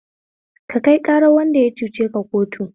Ka kai ƙarar wanda ya cuceka kotu